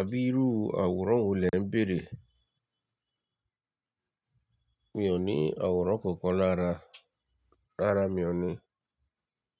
Àbí irú àwòrán wo lẹ ń bèrè? Mi ò ní àwòrán kankan lára, rárá mi ò ní.